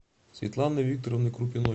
светланы викторовны крупиной